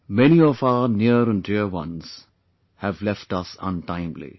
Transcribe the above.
Many of our near and dear ones have left us untimely